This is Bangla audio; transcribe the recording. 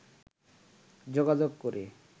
যোগাযোগ করে